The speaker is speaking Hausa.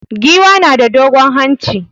Giwa na da dogon hanci.